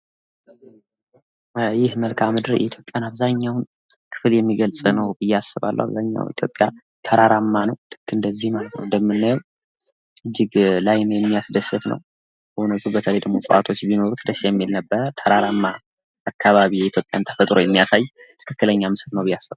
ይህ መልካም ምድር የኢትዮጵያ የሚያሳይ ምስል ነው ብዬ አስባለሁ ::አብዛኛው የኢትዮጵያ ተራራማ ነው ::ስለዚህ ይህ ምስል የኢትዮጵያ ምድር የሚያሳይ ምስል ነው ብዬ አስባለሁ ::